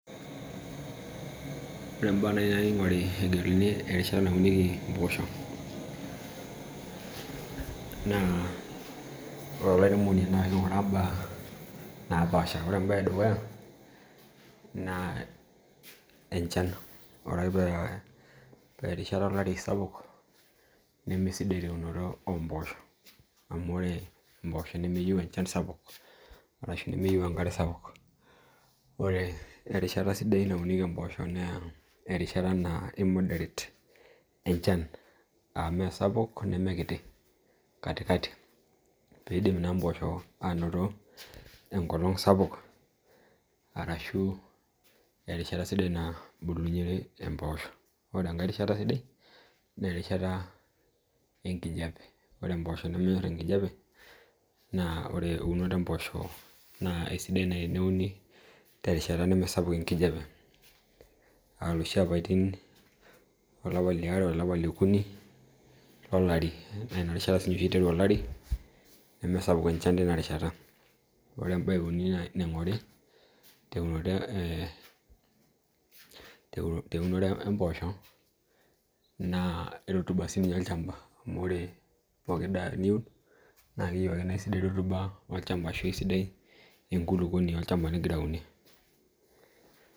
Ore imbaa nai nayeu ning'ore terishata naunieki imboosho, naa ore olairemono naa kiing'orr imbaa naapasha ore embae edukuya naa enchan ore ake paa erishata olarin sapuk nemesidai teunoto oombosho, amuu ore imboosho nemeyeu enchan sapuk arashu enkare sapuk. Ore erishata sidai naunieki imbooshoo naa erishata naa moderate enchan aa meisapuk nemee kiti katikati pee idim naa imboshoo aanoto enkolong' sapuk arashu erishata sidai nabulunyore imboosho, ore angae rishata sidai naah erishata enkijape ore imboshoo nemenyorr enkijape naah ore eunoto oombosho naa eisidae naai teneuni tereshita nemeesapuk enkijape aa iloshi apaitin aa olapata liare olapa leokuni olari naa inarishata oshi iteru olari neemesapuk enchan tina rishata. Ore embae euni naa naing'ori tee teunore ee eembosho naa rutuba sininye olchamba amuu ore pooki daa niun naa keyeu ake naa eisidai ake rotuba olchamba arashu enkulukuoni nigira aunie.